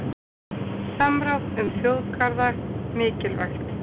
Samráð um þjóðgarða mikilvægt